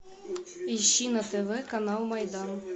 ищи на тв канал майдан